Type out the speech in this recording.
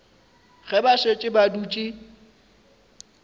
ge ba šetše ba dutše